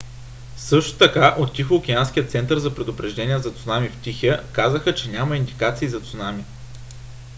също така от тихоокеанския център за предупреждения за цунами в тихия казаха че няма индикации за цунами